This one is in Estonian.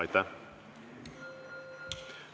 Aitäh!